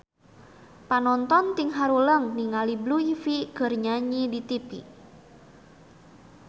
Panonton ting haruleng ningali Blue Ivy keur nyanyi di tipi